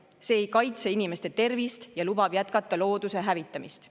See ei kaitse inimeste tervist ja lubab jätkata looduse hävitamist.